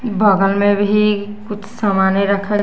बगल में भी कुछ सामाने रखा --